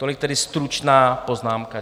Tolik tedy stručná poznámka.